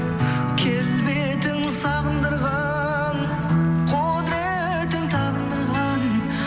келбетің сағындырған құдыретің табындырған